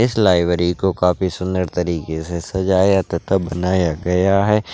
इस लायब्रे को काफी सुन्दर तरीके से सजाया तथा बनाया गया है--